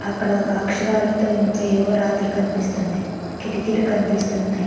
అక్కడ ఒక అక్షరాలతో ఇంకా ఏవో రాతలు కనిపిస్తున్నాయి. కిటికీలు కనిపిస్తున్నాయి.